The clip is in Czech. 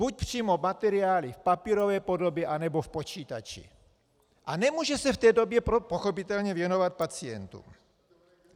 Buď přímo materiály v papírové podobě, anebo v počítači a nemůže se v té době pochopitelně věnovat pacientům.